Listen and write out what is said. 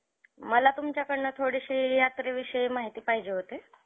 मला तुमच्याकडनं थोडीशी यात्रेविषयी माहिती पाहिजे होती.